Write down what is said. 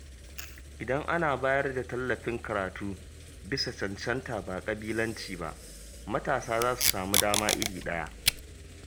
Idan ana bayar da tallafin karatu bisa cancanta ba ƙabilanci ba, matasa za su samu dama iri ɗaya.